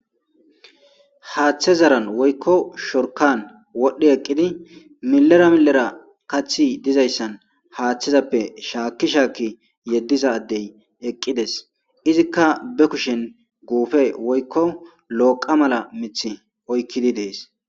Haaththe zaran woykko shorkan wodhdhi eqqidi milera milera kathi dizayssan haaththizappe shaakki shaakki yeddiza addey eqqides izikka be kushen guufe woykko loqa mala mith oykkidi dees.